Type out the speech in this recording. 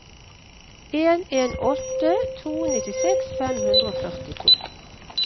en en åtte to nittiseks fem hundre og førtito